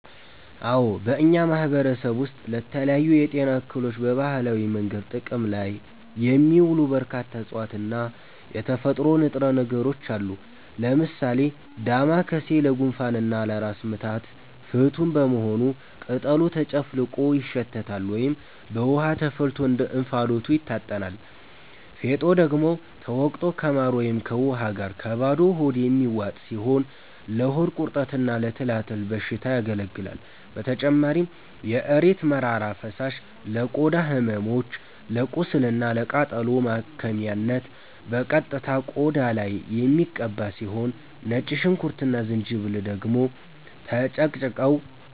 አዎ፣ በእኛ ማህበረሰብ ውስጥ ለተለያዩ የጤና እክሎች በባህላዊ መንገድ ጥቅም ላይ የሚውሉ በርካታ እፅዋትና የተፈጥሮ ንጥረ ነገሮች አሉ። ለምሳሌ ዳማከሴ ለጉንፋንና ለራስ ምታት ፍቱን በመሆኑ ቅጠሉ ተጨፍልቆ ይሸተታል ወይም በውሃ ተፈልቶ እንፋሎቱ ይታጠናል፤ ፌጦ ደግሞ ተወቅጦ ከማር ወይም ከውሃ ጋር በባዶ ሆድ የሚዋጥ ሲሆን ለሆድ ቁርጠትና ለትላትል በሽታ ያገለግላል። በተጨማሪም የእሬት መራራ ፈሳሽ ለቆዳ ህመሞች፣ ለቁስልና ለቃጠሎ ማከሚያነት በቀጥታ ቆዳ ላይ የሚቀባ ሲሆን፣ ነጭ ሽንኩርትና ዝንጅብል ደግሞ